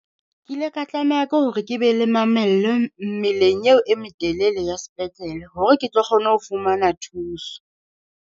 Ke ile ka tlameha ke hore ke be le mamello mmeleng eo e metelele ya sepetlele hore ke tlo kgona ho fumana thuso.